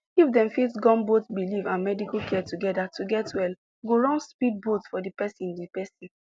if dem fit gum both belief and medical care together to get well go run speed boat for the persin the persin